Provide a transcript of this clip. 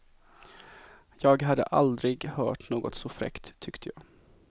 Jag hade aldrig hört något så fräckt, tyckte jag.